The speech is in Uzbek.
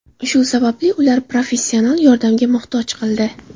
Shu sababli ular professional yordamga murojaat qildi .